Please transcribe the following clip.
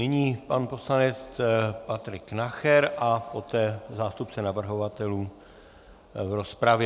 Nyní pan poslanec Patrik Nacher a poté zástupce navrhovatelů v rozpravě.